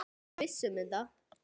Ertu viss um þetta?